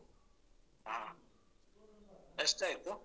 ಹಾ ಎಷ್ಟಾಯ್ತು?